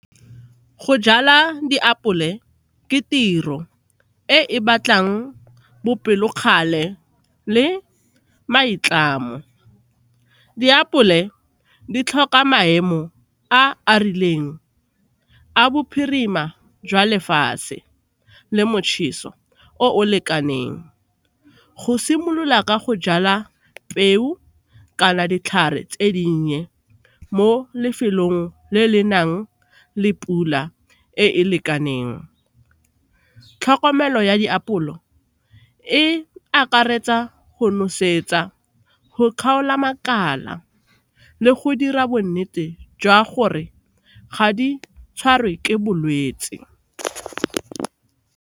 Go jala diapole ke tiro e e batlang bopelokgale le maitlamo. Diapole di tlhoka maemo a a rileng a bophirima jwa lefatshe le motjheso o o lekaneng go simolola ka go jala peo kana ditlhare tse dinnye mo lefelong le le nang le pula e lekaneng. Tlhokomelo ya diapole e akaretsa go nosetsa, go kgaola makala le go dira bonnete jwa gore ga di tshwarwe ke bolwetse.